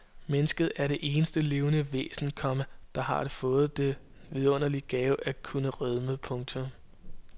Mennesket er det eneste levende væsen, komma der har fået den vidunderlige gave at kunne rødme. punktum